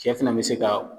Cɛ fana bɛ se ka